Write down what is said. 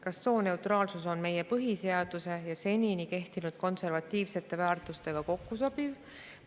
Kas sooneutraalsus on meie põhiseaduse ja senini kehtinud konservatiivsete väärtustega kokkusobiv?